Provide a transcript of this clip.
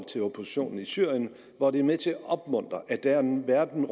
oppositionen i syrien hvor det er med til at opmuntre at der er en verden